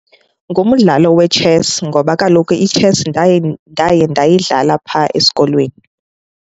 Ngumdlalo wetshesi ngoba kaloku itshesi ndaye ndayidlala phaa esikolweni.